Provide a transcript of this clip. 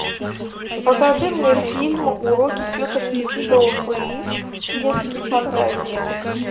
покажи мне фильм уроки тетушки совы детские фантазии